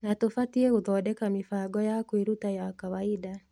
Na tũbatie gũthondeka mĩbango ya kwĩruta ya kawaida.